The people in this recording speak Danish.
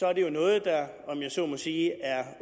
er det jo noget der om jeg så må sige er